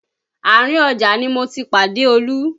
Àárín ọjà ni mo ti pàdé Olú